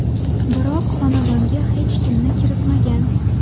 Biroq xonadonga hech kimni kiritmagan.